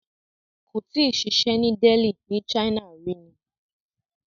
Kó tíì ṣiṣę ni Delhi ni China rí ni.